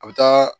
A bɛ taa